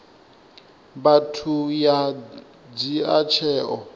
vhathu ya u dzhia tsheo